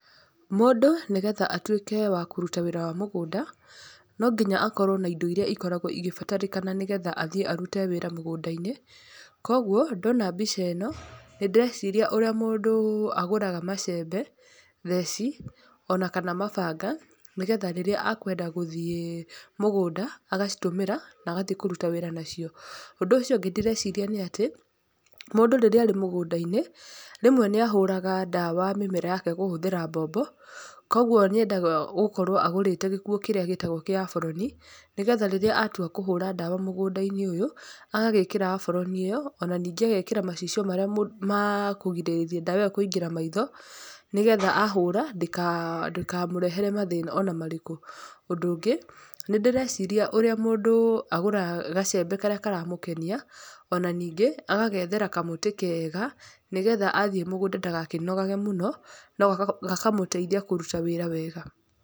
Mũndũ nĩgetha atũike wa kũrũta wĩra wa mũgũnda, no nginya akorwo na indo irĩa ikoragwo igĩbatarĩka, nĩgetha athiĩ arũte wĩra mũgũnda-inĩ. Koguo ndona mbica ĩno nĩ ndĩreciria ũrĩa mũndũ agũraga macembe, theci, ona kana mabanga, nĩgetha rĩrĩa akwenda gũthiĩ mũgũnda agacitũmĩra na agathiĩ kũrũta wĩra nacio. Ũndũ ũcio ũngĩ ndĩreciria nĩ atĩ, mũndũ rĩrĩa arĩ mũgũnda-inĩ, rĩmwe nĩ ahũraga ndawa mĩmera yake kũhũthĩra mbombo, koguo nĩ endaga gũkorwo agũrĩte gĩkuo kĩrĩa gĩtagwo kĩabũrũni, nĩgetha rĩrĩa atua kũhũra dawa mũgũnda-inĩ ũyũ, agagĩkĩra abũrũni ĩyo, ona ningĩ agekĩra macicio marĩa ma kũgirĩrĩria ndawa ĩyo kũingĩra maitho, nĩgetha ahũra, ndĩkamũrehere mathĩna ona marĩkũ. Ũndũ ũngĩ, nĩ ndĩreciria ũrĩa mũndũ agũraga gacembe karĩa karamũkenia, ona ningĩ agagethera kamũtĩ kega, nĩgetha athiĩ mũgũnda ndagakĩnogage mũno, no gakamũteithia kũrũta wĩra wega.